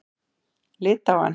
Litháen